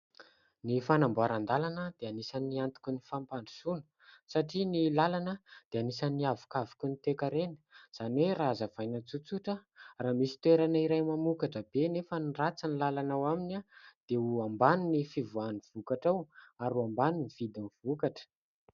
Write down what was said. Ny fanamboaran-dalana dia anisan'ny antoky ny fampandrosoana satria ny lalana dia anisan'ny havoka voky ny toekarena izany hoe raha hazavaina tsotsotra raha misy toerana iray mamokatra be anefa ratsy ny lalana ao aminy dia ho ambany ny fivoahan'ny vokatra ao ary ho ambany ny vidin'ny vokatra.